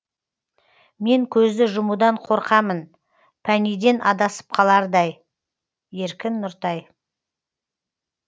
мен көзді жұмудан қорқамын пәнійден адасып қалардай еркін нұртай